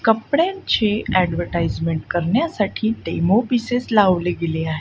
कपड्यांची ॲडवटाइजमेंट करण्यासाठी demo pieces लावले गेले हाय.